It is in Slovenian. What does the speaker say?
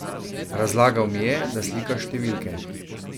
Razlagal mi je, da slika številke.